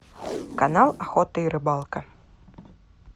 канал охота и рыбалка